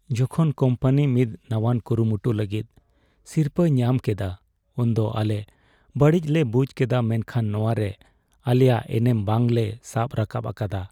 ᱡᱚᱠᱷᱚᱱ ᱠᱚᱢᱯᱟᱱᱤ ᱢᱤᱫ ᱱᱟᱶᱟᱱ ᱠᱩᱨᱩᱢᱩᱴᱩ ᱞᱟᱹᱜᱤᱫ ᱥᱤᱨᱯᱟᱹᱭ ᱧᱟᱢ ᱠᱮᱫᱟ ᱩᱱᱫᱚ ᱟᱞᱮ ᱵᱟᱹᱲᱤᱡ ᱞᱮ ᱵᱩᱡ ᱠᱮᱫᱟ ᱢᱮᱱᱠᱷᱟᱱ ᱱᱚᱶᱟᱨᱮ ᱟᱞᱮᱭᱟᱜ ᱮᱱᱮᱢ ᱵᱟᱝ ᱞᱮ ᱥᱟᱵ ᱨᱟᱠᱟᱵ ᱟᱠᱟᱫᱟ ᱾